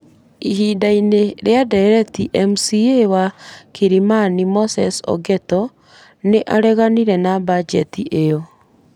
Ihinda-inĩ rĩa ndereti MCA wa Kilimani Moses Ogeto, nĩ areganire na bajeti ĩyo.